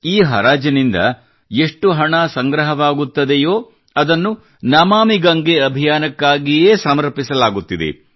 ಈ ಹರಾಜಿನಿಂದ ಎಷ್ಟು ಹಣ ಸಂಗ್ರಹವಾಗುತ್ತದೆಯೋ ಅದನ್ನು ನಮಾಮಿ ಗಂಗೇ ಅಭಿಯಾನಕ್ಕಾಗಿಯೇ ಸಮರ್ಪಿಸಲಾಗುತ್ತಿದೆ